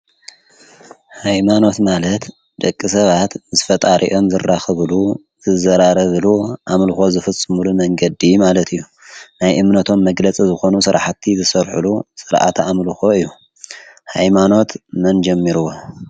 ሃይማኖት ማለት ደቂ ሰባት ምስ ፈጣሪኦም ዝራኸብሉ፣ ዝዘራረብሉ፣ ኣምልኾ ዝፍጽሙሉ መንገዲ ማለት እዩ፡፡ ናይ እምነቶም መግለፂ ዝኾኑ ስራሕቲ ዝሰርሕሉ ስርዓተ ኣምልኮ እዩ፡፡ ሃይማኖት መን ጀሚርዎ?